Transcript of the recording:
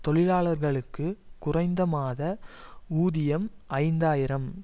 தொழிலாளர்களுக்கு குறைந்த மாத ஊதியம் ஐந்து ஆயிரம்